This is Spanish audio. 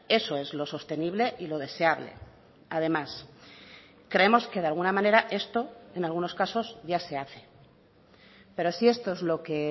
eso es lo sostenible y lo deseable además creemos que de alguna manera esto en algunos casos ya se hace pero si esto es lo que